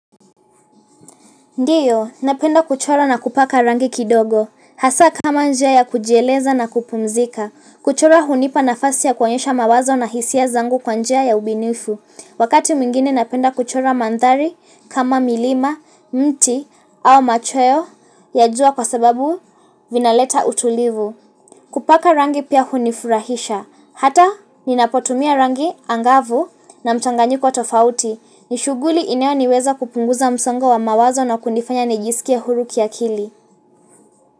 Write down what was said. Ndiyo, napenda kuchora na kupaka rangi kidogo. Hasa kama njia ya kujieleza na kupumzika. Kuchora hunipa nafasi ya koanyesha mawazo na hisia zangu kwa njia ya ubunifu. Wakati mwingine napenda kuchora mandhari, kama milima, mti au machoyo ya jua kwa sababu vinaleta utulivu. Kupaka rangi pia hunifurahisha. Hata, ninapotumia rangi angavu na mchanganyiko tofauti. Ni shughuli inayo niweza kupunguza msongo wa mawazo na kunifanya nijisikie huru kiakili.